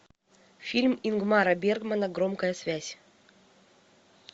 фильм ингмара бергмана громкая связь